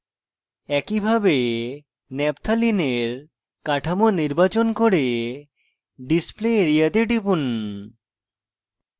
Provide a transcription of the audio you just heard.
একইভাবে naphthalene এর কাঠামো নির্বাচন করে display area তে টিপুন